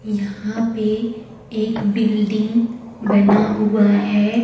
यहां पे एक बिल्डिंग बना हुआ है।